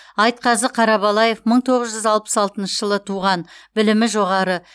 айтқазы қарабалаев мың тоғыз жүз алпыс алтыншы жылы туған білімі жоғары